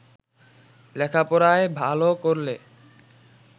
লেখাপড়ায় ভাল করলে